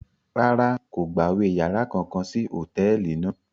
Rárá, kò gbawe yàrá kankan sí hotẹẹli náà